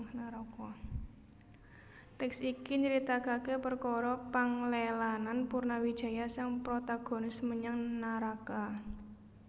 Tèks iki nyritakaké perkara panglelanan Purnawijaya sang protagonis menyang naraka